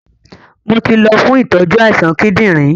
Mo ti lọ fún ìtọ́jú àìsàn kíndìnrín